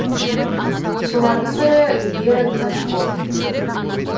солардың бірі вера клочко